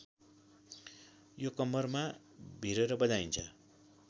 यो कम्मरमा भिरेर बजाइन्छ